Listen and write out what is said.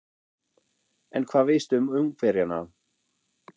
En hvað veist þú um Ungverjana?